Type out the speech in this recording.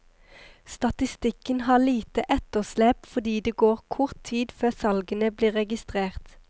Statistikken har lite etterslep fordi det går kort tid før salgene blir registrert.